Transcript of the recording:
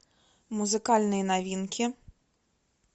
музыкальные новинки